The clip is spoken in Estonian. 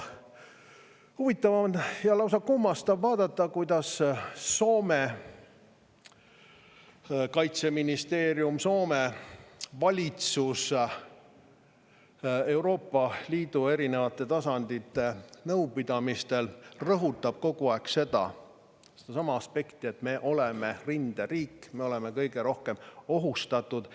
Huvitav ja lausa kummastav on vaadata, kuidas Soome kaitseministeerium, Soome valitsus Euroopa Liidu erinevate tasandite nõupidamistel rõhutab kogu aeg sedasama aspekti, et me oleme rinderiik, me oleme kõige rohkem ohustatud.